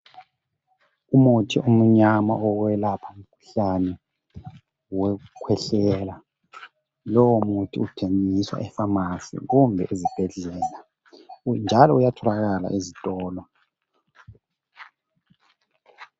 Umuthi omnyama owokwelapha umkhuhlane wekukhwehlela. Lowo muthi uthengiswa epharmacy kumbe esibhedlela njalo uyatholakala ezitolo